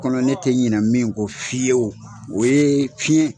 O kɔnɔ ne tɛ ɲin min ko fiyew o ye fiɲɛ